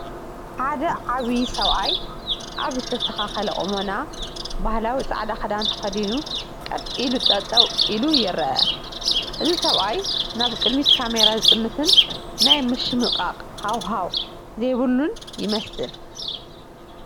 ሓደ ዓብይ ሰብኣይ ኣብ ዝተስተኻኸለ ቁመና ባህላዊ ፃዕዳ ኽዳን ተኸዲኑ ቀጥ ኢሉ ጠጠው ኢሉ ይረአ፡፡ እዚ ሰብኣይ ናብ ቅድሚት ካሜራ ዝጥምትን ናይ ምሽምቓቕ ሃዋሃው ዘይብሉን ይመስል፡፡